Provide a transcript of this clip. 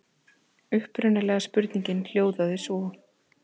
Upprunalega spurningin hljóðaði svo: